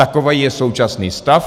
Takový je současný stav.